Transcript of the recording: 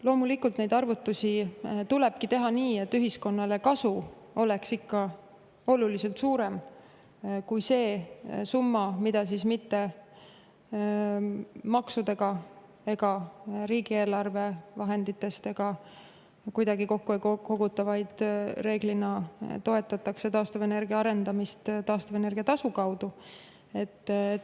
Loomulikult, neid arvutusi tulebki teha nii, et ühiskonnale oleks kasu ikka oluliselt suurem kui see summa, mida mitte maksudega ega riigieelarve vahenditest ega kuidagi kokku ei koguta, vaid reeglina toetatakse taastuvenergia arendamist taastuvenergia tasu kaudu.